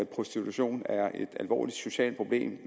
prostitution er et alvorligt socialt problem